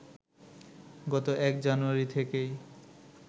গত ১ জানুয়ারি থেকেই